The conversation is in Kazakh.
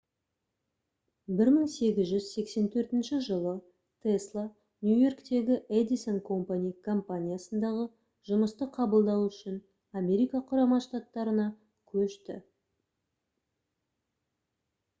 1884 жылы тесла нью-йорктегі edison company компаниясындағы жұмысты қабылдау үшін америка құрама штаттарына көшті